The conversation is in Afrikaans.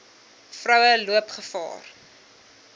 vroue loop gevaar